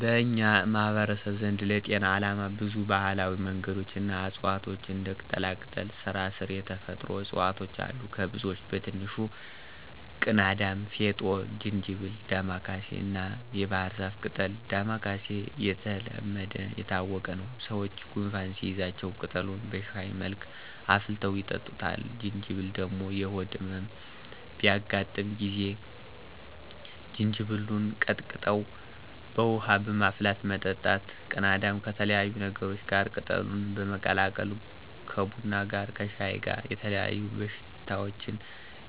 በኛ ማህበረሰብ ዘንድ ለጤና አላማ ብዙ ባህላዊ መንገዶች እና እፅዋቷች እንደ ቅጠላቅጠል፣ ስራስር የተፈጥሮ እፅዋቶች አሉ። ከብዙወች በትንሹ፦ ቅናዳም፣ ፌጦ፣ ጅንጀብል፣ ዳማከስይ እናየባህርዛፍ ቅጠል። ዳማከስይ የተለሐደናየታወቀ ነው። ሰወች ጎንፋን ሲይዛቸው ቅጠሉን በሽሀይ መልክ አፍልተው ይጠጡታል። ጅንጀብል ደሞ የሆድ እመም በሚያጋጥ ጊዜ ጅንጀብሉን ቀጥቅጦ በውሀ በማፍላት መጠጣት። ቅናዳም ከተለያዩ ነገሮች ጋር ቅጠሉን በመቀላቀል ከቡና ጋረ ከሻይ ጋር የተለያዩ በሽታወችን